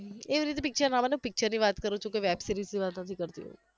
એવી રીતે picture ના બને picture ની વાત કરુ છુ કોઈ web series ની વાત નથી કરતી હું